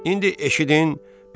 İndi eşidin,